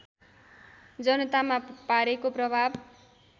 जनतामा पारेको प्रभाव